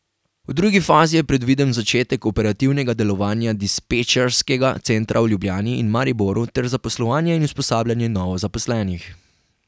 V drugi fazi je predviden začetek operativnega delovanja dispečerskega centra v Ljubljani in Mariboru ter zaposlovanje in usposabljanje novo zaposlenih.